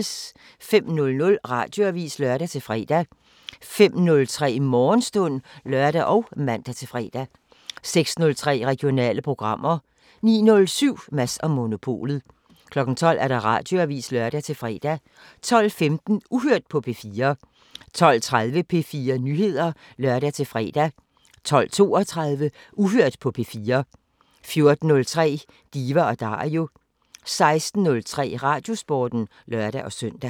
05:00: Radioavisen (lør-fre) 05:03: Morgenstund (lør og man-fre) 06:03: Regionale programmer 09:07: Mads & Monopolet 12:00: Radioavisen (lør-fre) 12:15: Uhørt på P4 12:30: P4 Nyheder (lør-fre) 12:32: Uhørt på P4 14:03: Diva & Dario 16:03: Radiosporten (lør-søn)